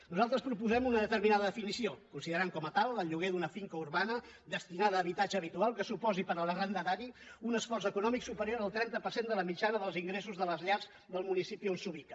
nosaltres proposem una determinada definició considerem com a tal el lloguer d’una finca urbana destinada a habitatge habitual que suposi per a l’arrendatari un esforç econòmic superior al trenta per cent de la mitjana dels ingressos de les llars del municipi on s’ubica